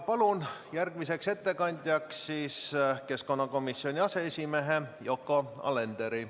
Palun järgmiseks ettekandjaks keskkonnakomisjoni aseesimehe Yoko Alenderi.